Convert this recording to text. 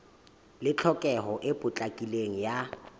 le tlhokeho e potlakileng ya